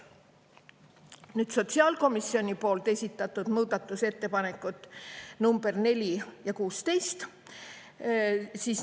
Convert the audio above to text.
Nüüd, sotsiaalkomisjoni esitatud muudatusettepanekud nr 4 ja 16.